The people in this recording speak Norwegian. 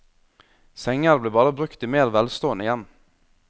Senger ble bare brukt i mer velstående hjem.